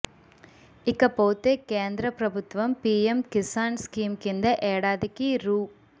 ఇకపోతే కేంద్ర ప్రభుత్వం పీఎం కిసాన్ స్కీమ్ కింద ఏడాదికి రూ